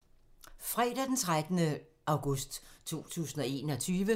Fredag d. 13. august 2021